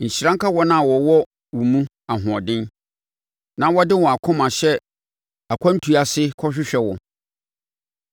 Nhyira nka wɔn a wɔwɔ wo mu ahoɔden, na wɔde wɔn akoma hyɛ akwantuo ase kɔhwehwɛ wo.